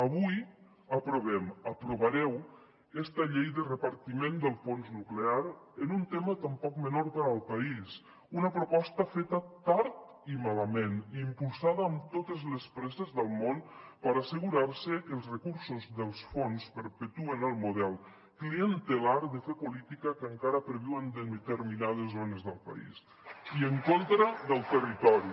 avui aprovem aprovareu esta llei de repartiment del fons nuclear en un tema tan poc menor per al país una proposta feta tard i malament i impulsada amb totes les presses del món per assegurar se que els recursos del fons perpetuen el model clientelar de fer política que encara perviu en determinades zones del país i en contra del territori